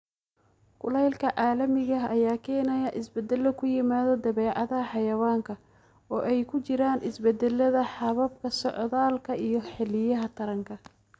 Kulaylka caalamiga ah ayaa keenaya isbeddelo ku yimaada dabeecadda xayawaanka, oo ay ku jiraan isbeddellada hababka socdaalka iyo xilliyada taranka.